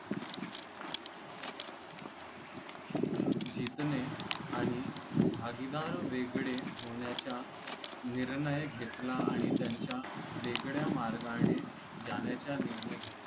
जितणे आणि भागीदार वेगळे होण्याचा निर्णय घेतला आणि त्यांच्या वेगळ्या मार्गाने जाण्याचा निर्णय घेतला